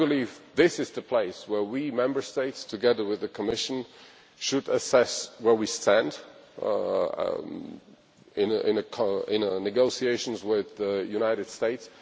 I believe this is the place where we Member States, together with the Commission, should assess where we stand in negotiations with the United States.